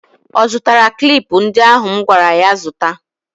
Ọ zụtara klip ndị ahụ m gwara ya zụta?